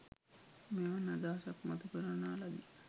මෙවන් අදහසක් මතුකරනා ලදී.